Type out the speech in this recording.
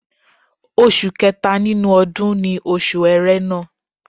Oṣù kẹta nínú ọdún ni Oṣù Ẹrẹ́nà